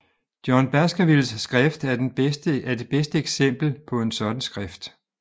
John Baskervilles skrift er det bedste eksempel på en sådan skrift